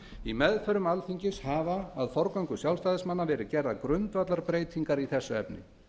í meðförum alþingis hafa að forgöngu sjálfstæðismanna verið gerðar grundvallarbreytingar í þessu efni